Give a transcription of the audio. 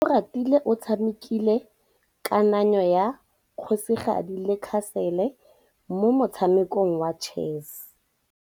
Oratile o tshamekile kananyô ya kgosigadi le khasêlê mo motshamekong wa chess.